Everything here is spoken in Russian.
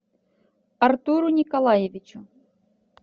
артуру николаевичу